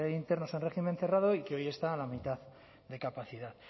internos en régimen cerrado y que hoy está a la mitad de capacidad